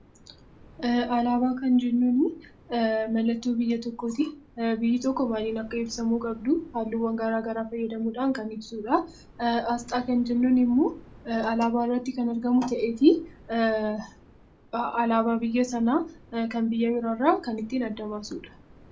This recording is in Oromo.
Alaabaa kan jennuun mallattoo biyya tokkooti. Biyyi tokko baayyina ibsamuu qabduun halluuwwan garaagaraa fayyadamuudhaan kan ibsudha. Asxaa kan jennuun immoo alaabaa irratti kan argamu ta'eetii, alaabaa biyya sanaa kan biyya birraa irraa kan adda baasnudha.